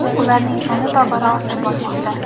ularning soni tobora ortib bormoqda.